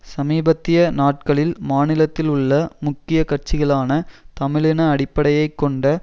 சமீபத்திய நாட்களில் மாநிலத்தில் உள்ள முக்கிய கட்சிகளான தமிழ் இன அடிப்படையை கொண்ட